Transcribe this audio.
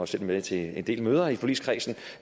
selv med til en del møder i forligskredsen